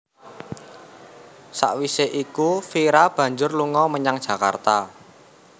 Sawisé iku Vira banjur lunga menyang Jakarta